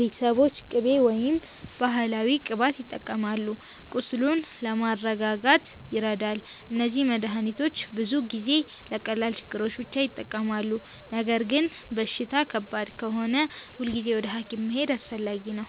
ቤተሰቦች ቅቤ ወይም ባህላዊ ቅባት ይጠቀማሉ፣ ቁስሉን ለማስረጋጋት ይረዳል። እነዚህ መድሃኒቶች ብዙ ጊዜ ለቀላል ችግሮች ብቻ ይጠቅማሉ። ነገር ግን በሽታ ከባድ ከሆነ ሁልጊዜ ወደ ሐኪም መሄድ አስፈላጊ ነው።